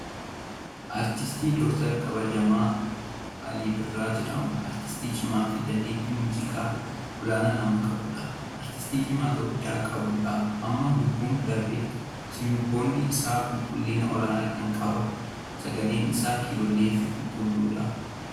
Artist Dr kabajaa Alii Birraa jedhama. Artistii cimaa fi dandeettii muuziqaa olaanaa nama qabudha. Artistii cimaa Itoophiyaan qabduudha. Amma lubbuun darbeera. Sirboonni isaa qulqullina olaanaa qaba. Sagaleen isaa kilolee fi qulqulluudha.